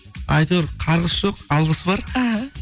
әйтеуір қарғыс жоқ алғыс бар іхі